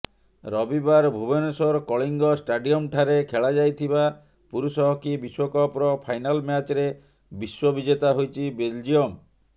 ରବିବାର ଭୁବନେଶ୍ୱର କଳିଙ୍ଗ ଷ୍ଟାଡିୟମ୍ଠାରେ ଖେଳାଯାଇଥିବା ପୁରୁଷ ହକି ବିଶ୍ୱକପର ଫାଇନାଲ ମ୍ୟାଚରେ ବିଶ୍ୱବିଜେତା ହୋଇଛି ବେଲଜିୟମ